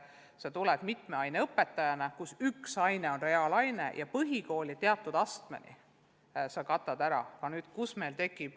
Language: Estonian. Kui kooli tuleb mitme aine õpetaja ja üks aine on reaalaine, siis põhikooli teatud astmeni saab tunnid ära katta.